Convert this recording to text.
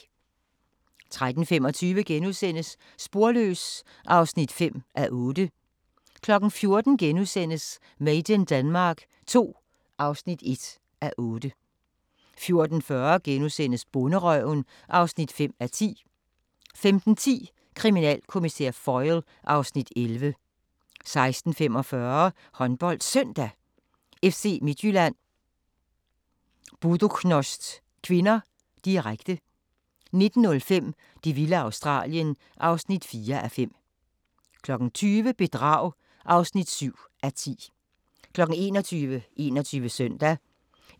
13:25: Sporløs (5:8)* 14:00: Made in Denmark II (1:8)* 14:40: Bonderøven (5:10)* 15:10: Kriminalkommissær Foyle (Afs. 11) 16:45: HåndboldSøndag: FC Midtjylland-Buducnost (k), direkte 19:05: Det vilde Australien (4:5) 20:00: Bedrag (7:10) 21:00: 21 Søndag